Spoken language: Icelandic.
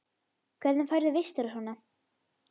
Hvernig færðu vistir og svona?